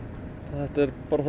en þetta er bara